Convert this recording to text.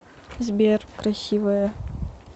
сбер красивая